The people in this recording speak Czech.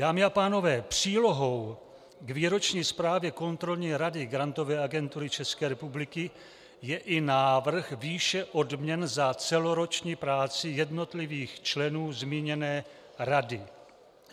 Dámy a pánové, přílohou k výroční zprávě Kontrolní rady Grantové agentury České republiky je i návrh výše odměn za celoroční práci jednotlivých členů zmíněné rady.